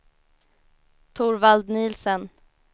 Torvald Nielsen